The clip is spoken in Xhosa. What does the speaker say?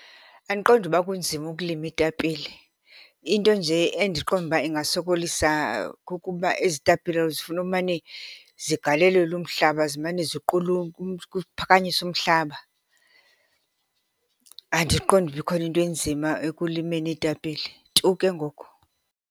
Andiqondi uba kunzima ukulima iitapile. Into nje endiqonda uba ingasokolisa kukuba ezi tapile zifuna umane zigalelelwa umhlaba, zimane kuphakanyisiwa umhlaba. Andiqondi uba ikhona into enzima ekulimeni iitapile, tu ke ngoku.